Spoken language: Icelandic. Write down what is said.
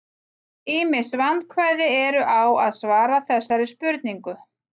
ýmis vandkvæði eru á að svara þessari spurningu